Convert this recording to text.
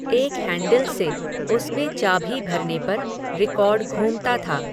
एक हैंडिल से, उसमें चाभी भरने पर, रिकॉर्ड घूमता था